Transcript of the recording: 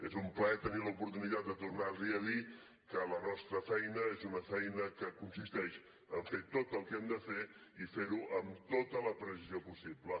és un plaer tenir l’oportunitat de tornar li a dir que la nostra feina és una feina que consisteix en fer tot el que hem de fer i fer ho amb tota la precisió possible